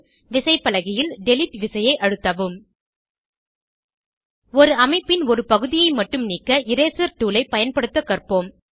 விசைப்பலகையில் டிலீட் விசையை அழுத்தவும் ஒரு அமைப்பின் ஒரு பகுதியை மட்டும் நீக்க இரேசர் டூல் ஐ பயன்படுத்த கற்போம்